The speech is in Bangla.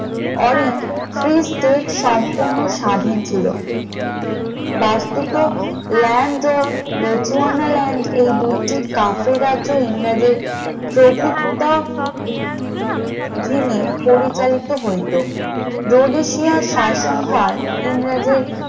ল্যান্ড ও বেটু এনাল্যান্ড এই দুইটি কাফি রাজ্যের ইংরেজি প্রভুত্বধীন এ পরিচালিত হইত, ডোডেশিয়া শাসনভার ইংরেজদের